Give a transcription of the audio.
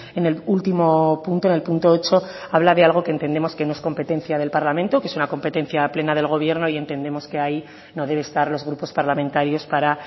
en el último punto en el punto ocho habla de algo que entendemos que no es competencia del parlamento que es una competencia plena del gobierno y entendemos que ahí no debe estar los grupos parlamentarios para